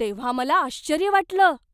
तेव्हा मला आश्चर्य वाटलं.